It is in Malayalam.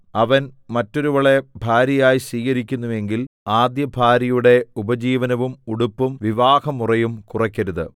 അവൻ മറ്റൊരുവളെ ഭാര്യയായി സ്വീകരിക്കുന്നുവെങ്കിൽ ആദ്യഭാര്യയുടെ ഉപജീവനവും ഉടുപ്പും വിവാഹമുറയും കുറയ്ക്കരുത്